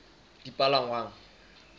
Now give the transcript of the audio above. dipalangwang